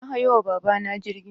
Na hayo wa baba na jirgi